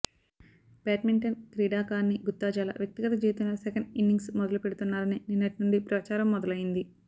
badminton క్రీడాకారిణి గుత్తా జ్వాల వ్యక్తిగత జీవితంలో సెకండ్ ఇన్నింగ్స్ మొదలు పెడుతున్నారని నిన్నటి నుండి ప్రచారం మొదలుయింది